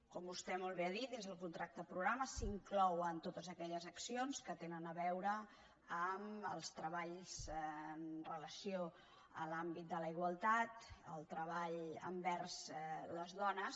com vostè molt bé ha dit dins del contracte programa s’inclouen totes aquelles accions que tenen a veure amb els treballs amb relació a l’àmbit de la igualtat el treball envers les dones